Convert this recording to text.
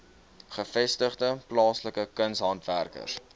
gevestigde plaaslike kunshandwerkers